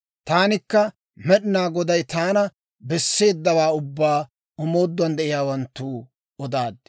Taanikka Med'inaa Goday taana besseeddawaa ubbaa omoodduwaan de'iyaawanttoo odaaddi.